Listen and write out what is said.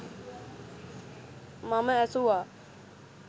මම ඇසුවා